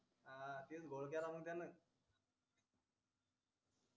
हा तेच घोळ केला म्हणे त्यानं